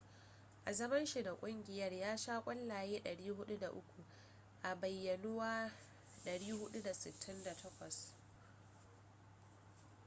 a zaman shi da kungiyar ya sha kwallaye 403 a bayyanuwa 468